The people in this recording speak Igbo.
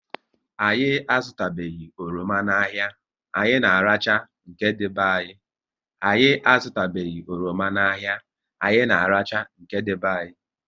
Anyị azutanubeghi oroma n'ahia, anyị na arachaa nke dị be anyị